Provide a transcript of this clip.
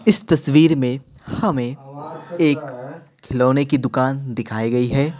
इस तस्वीर में हमें एक खिलौने की दुकान दिखाई गई है।